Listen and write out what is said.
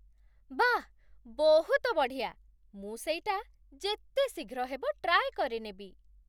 ବାଃ! ବହୁତ ବଢ଼ିଆ! ମୁଁ ସେଇଟା ଯେତେ ଶୀଘ୍ର ହେବ ଟ୍ରାଏ କରିନେବି!